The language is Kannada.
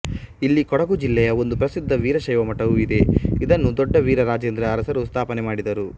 ಇಲ್ಲಿ ಕೊಡಗು ಜಿಲ್ಲೆ ಯ ಒಂದು ಪ್ರಸಿದ್ಧ ವೀರಶೈವ ಮಠವು ಇದೆ ಇದನ್ನು ದೊಡ್ಡ ವೀರರಾಜೇಂದ್ರ ಅರಸರು ಸ್ಥಾಪನೆ ಮಾಡಿದರು